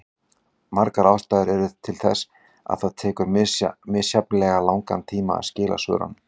Margar ástæður eru til þess að það tekur misjafnlega langan tíma að skila svörunum.